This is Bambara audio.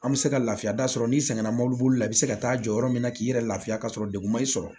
An bɛ se ka lafiya da sɔrɔ n'i sɛgɛnna mobili bolila i bɛ se ka taa jɔ yɔrɔ min na k'i yɛrɛ lafiya ka sɔrɔ degun ma i sɔrɔ